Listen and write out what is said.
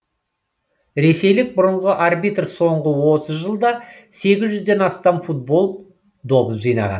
ресейлік бұрынғы арбитр соңғы отыз жылда сегіз жүзден астам футбол добын жинаған